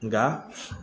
Nka